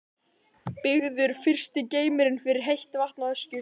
Byggður fyrsti geymirinn fyrir heitt vatn á Öskjuhlíð.